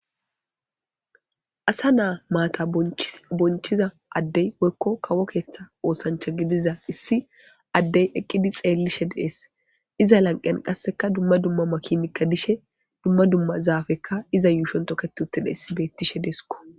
Asa naa maata bonchida addey woykko kawo keeththa oosancha gidiza issi addey eqqidi xeellishe dees. Iza lanqeyan qasseka dumma dumma makinikka dees. Dumma dumma zaafekka iza yuushon toket uttida issi bettishe deeskko.